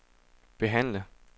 behandle